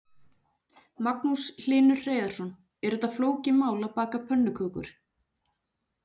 Magnús Hlynur Hreiðarsson: Er þetta flókið mál, að baka pönnukökur?